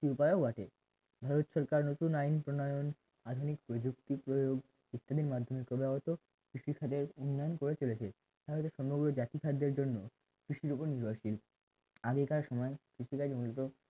একটি উপায়ও বটে ভারত সরকার নতুন আইন প্রণয় আধুনিক প্রযুক্তি প্রয়োগ ইত্যাদির মাধ্যমে ক্রমাগত কৃষিকাজের উন্নয়ন করে চলেছে তা হয়তো সম্ভবত জাতি খাদ্যের জন্য কৃষির উপর নির্ভরশীল আগেকার সময়ে কৃষিকাজ মূলত